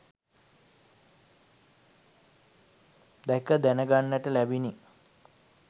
දැක දැන ගන්නට ලැබිණි.